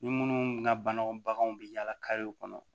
Ni minnu ka bangew baganw bɛ yaala karew kɔnɔ